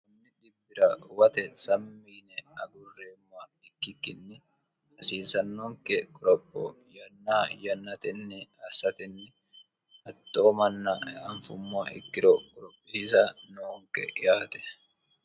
ammi dibbira uwate sammiine agurreemma ikkikkinni hasiisannonke qorapho yanna yannatenni assatenni hatxoo manna eanfummo ikkiro qorophiiza noonke yaate